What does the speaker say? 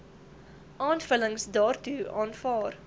aanvullings daartoe aanvaar